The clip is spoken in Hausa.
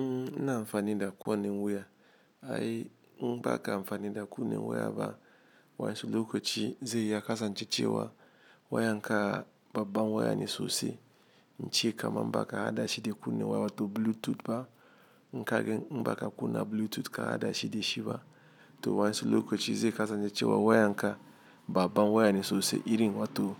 Mmm i na amfani da kowa ne wuya. Ai inbaka amfani da kunne wuya ba wa su lokachi ze yakasance che wa wayanka bab ban waya ne sosai. Inche kaman baka hada shide kuna ne wa wato Bluetooth ba inkaga ni inbaka kuna Bluetooth ka hada shide shi ba to wa su lokachi ze yakasan je che wa wayanka ba ban waya ne sosi irinwato